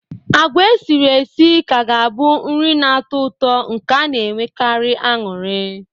Agwa esiri esi ka ga-abụ nri na-atọ ụtọ nke a na-enwekarị anụrị.